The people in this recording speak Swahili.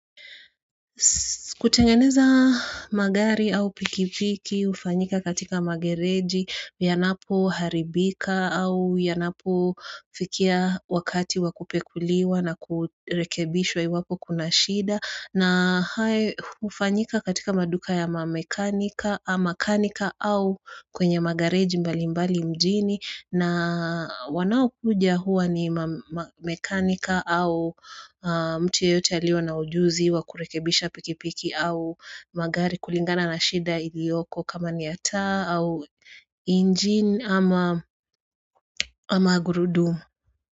Kutengeneza magari au pikipiki ufanyika katika magereji, yanapo haribika au yanapo fikia wakati wa kupekuliwa na kurekebishwa iwapo kuna shida. Na hayo ufanyika katika maduka ya mamakanika au kwenye magareji mbali mbali mjini na wanaokuja huwa ni mamekanika au mtu yoyote alio na ujuzi wa kurekebisha pikipiki au magari kulingana na shida iliyoko kama ni ya taa au injin ama gurudumu.